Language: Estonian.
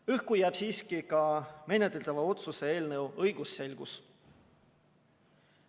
Õhku jääb siiski ka menetletava otsuse eelnõu õigusselgus.